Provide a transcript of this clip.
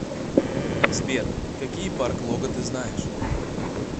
сбер какие парк лога ты знаешь